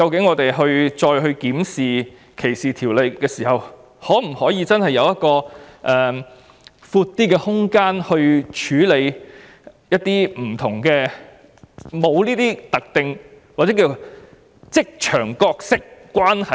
因此，日後再次檢視歧視法例時，我們應該研究有否較寬闊的空間，處理這些沒有特定關係或職場角色的情況。